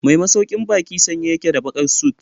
Mai masaukin baki sanye yake da bakar suit.